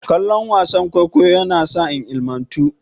Kallon wasan kwaikwayo yasa na ilimantu.